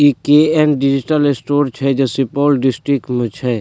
इ KM. Digital store छै जे सुपौल डस्ट्रिक्ट में छै।